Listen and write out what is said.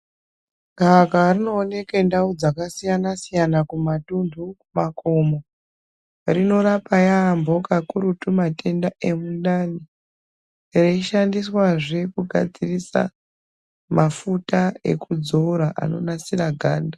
Gvakava rinooneke ndau dzakasiyana-siyana kumatuntu, kumakomo. Rinorapa yaamho kakurutu matenda emundani reishandiswazve kugadzirisa mafuta ekudzora anonasira ganda.